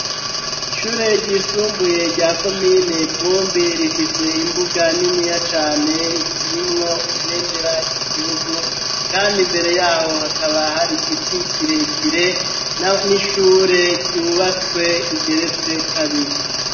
Ishure ryisumbuye rya komine vumbi rifise imbuga niniya cane irimwo ibenderary'igihugu, kandi imbere yaho hakaba hari igiti kirekire n'ishure ryubatswe rigeretse kabiri.